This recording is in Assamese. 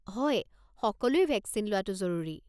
হয়, সকলোৱে ভেকচিন লোৱাটো জৰুৰী।